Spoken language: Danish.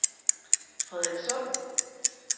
Frederikssund